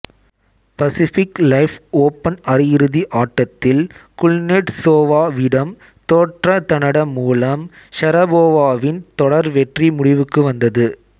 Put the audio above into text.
Pacific Life Open அரையிறுதி ஆட்டத்தில் Kuznetsova விடம் தோற்றதனட மூலம் ஷரபோவாவின் தொடர் வெற்றி முடிவுக்கு வந்தது